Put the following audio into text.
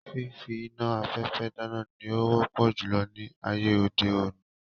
Fífí iná afẹfẹ dáná ní o wọpọ julọ ní ayé òde òni